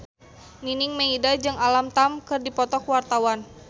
Nining Meida jeung Alam Tam keur dipoto ku wartawan